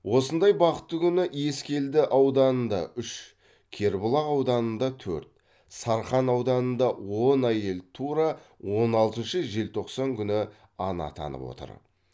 осындай бақытты күні ескелді ауданында үш кербұлақ ауданында төрт сарқан ауданында он әйел тура он алтыншы желтоқсан күні ана атанып отыр